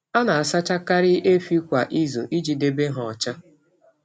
A na-asachakarị efi kwa izu iji debe ha ọcha.